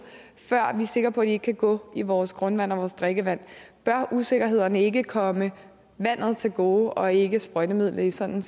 før vi er sikre på ikke kan gå i vores grundvand og vores drikkevand bør usikkerhederne ikke komme vandet til gode og ikke sprøjtemidler i sådan